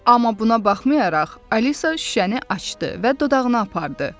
Amma buna baxmayaraq, Alisa şüşəni açdı və dodağına apardı.